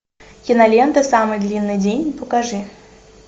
кинолента самый длинный день покажи